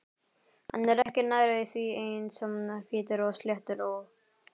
Hann er ekki nærri því eins hvítur og sléttur og